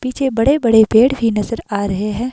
पीछे बड़े बड़े पेड़ भी नजर आ रहे हैं।